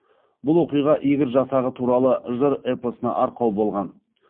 бұл оқиға игорь жасағы туралы жыр эпосына арқау болған